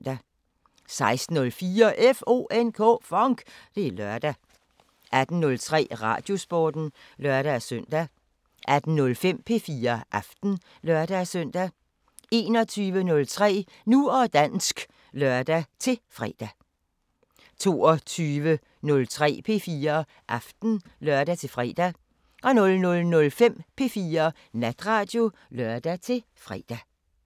16:04: FONK! Det er lørdag 18:03: Radiosporten (lør-søn) 18:05: P4 Aften (lør-søn) 21:03: Nu og dansk (lør-fre) 22:03: P4 Aften (lør-fre) 00:05: P4 Natradio (lør-fre)